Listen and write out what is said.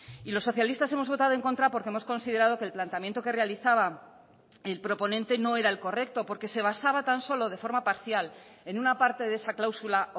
y los socialistas hemos votado en contra porque hemos considerado que el planteamiento que realizaba el proponente no era el correcto porque se basaba tan solo de forma parcial en una parte de esa cláusula